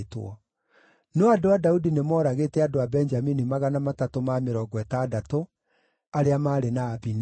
No andũ a Daudi nĩmooragĩte andũ a Benjamini magana matatũ ma mĩrongo ĩtandatũ arĩa maarĩ na Abineri.